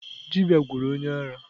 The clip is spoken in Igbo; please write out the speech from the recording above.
Dibia gwọrọ onye ara.